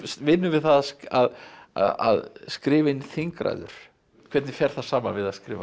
vinnur við það að að skrifa inn þingræður hvernig fer það saman við að skrifa